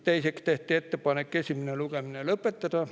Teiseks tehti ettepanek esimene lugemine lõpetada.